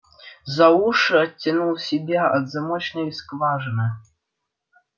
за уши оттянул себя от замочной скважины